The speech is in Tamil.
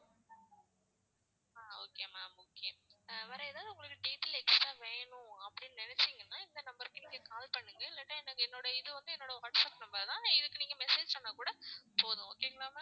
ஆஹ் okay ma'am okay வேற எதாவது உங்களுக்கு detail extra அப்படின்னு நினைச்சீங்கன்னா இந்த number க்கு நீங்க call பண்ணுங்க இல்லாட்டா இல்லாட்டா இது வந்து என்னோட வாட்ஸ்ஆப் number தான் இதுக்கு நீங்க message பண்ணா கூட போதும் okay ங்களா ma'am